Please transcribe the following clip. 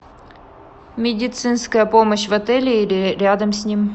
медицинская помощь в отеле или рядом с ним